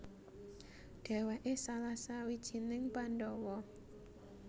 Dhèwèké salah sawijining Pandhawa